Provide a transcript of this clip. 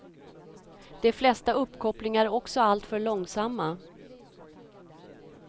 De flesta uppkopplingar är också alltför långsamma.